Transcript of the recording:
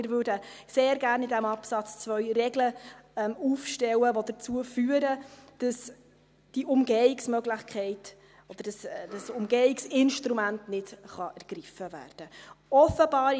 Wir würden in diesem Absatz 2 sehr gerne Regeln aufstellen, die dazu führen, dass diese Umgehungsmöglichkeit oder dieses Umgehungsinstrument nicht ergriffen werden kann.